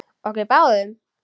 Okkur báðum?